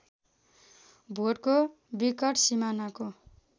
भोटको विकट सिमानाको